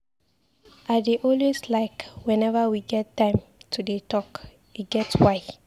I dey always like whenever we get time to dey talk. E get why.